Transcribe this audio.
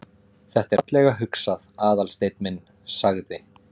Þetta er fallega hugsað, Aðalsteinn minn- sagði